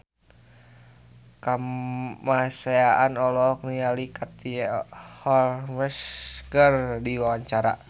Kamasean olohok ningali Katie Holmes keur diwawancara